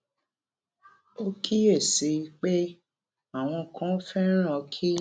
ó kíyèsí i pé àwọn kan féràn kí